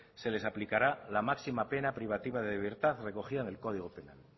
se les aplicará la máxima pena privativa de libertad recogida en el código penal